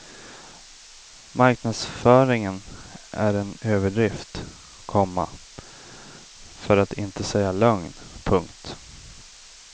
Marknadsföringen är en överdrift, komma för att inte säga lögn. punkt